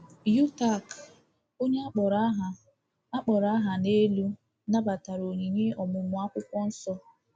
Yutaka, onye a kpọrọ aha a kpọrọ aha n’elu, nabatara onyinye ọmụmụ Akwụkwọ Nsọ.